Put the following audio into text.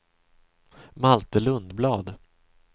Malte Lundblad